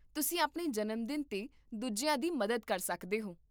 ਤੁਸੀਂ ਆਪਣੇ ਜਨਮਦਿਨ 'ਤੇ ਦੂਜਿਆਂ ਦੀ ਮਦਦ ਕਰ ਸਕਦੇ ਹੋ